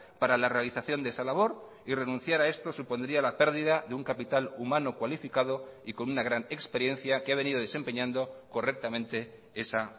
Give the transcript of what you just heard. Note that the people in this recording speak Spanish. para la realización de esa labor y renunciar a esto supondría la pérdida de un capital humano cualificado y con una gran experiencia que ha venido desempeñando correctamente esa